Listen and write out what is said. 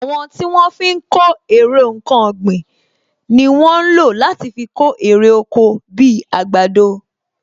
Àwọn tí wọ́n fi ń kó èrè nkan ọ̀gbìn ni wọ́n ń lò láti fi kó èrè oko bi àgbàdo